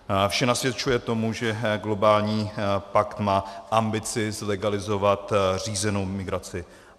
Vše nasvědčuje tomu, že globální pakt má ambici zlegalizovat řízenou migraci.